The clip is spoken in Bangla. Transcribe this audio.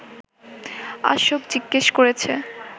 অশোক জিজ্ঞেস করেছে